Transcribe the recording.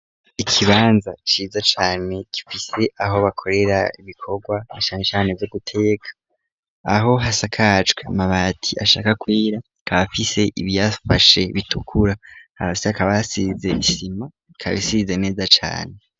Ikibanza ciza cane gifise aho bakorera ibikorwa na cane cane; vyo guteka aho hasakajwe amabati ashaka kwera; akaba afise ibiyafashe bitukura hasi hakaba hasize isima ikaba isize neza cane.